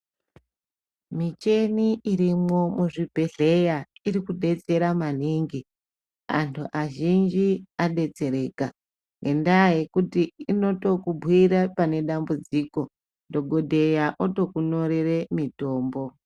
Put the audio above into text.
Micheni irimwo muzvibhedhleya iri kubetsera maningi antu azhinji anobetsereka. Ngendaa yekuti anotokubhuira pane dambudziko dhogodheya otokunyorere mitombo.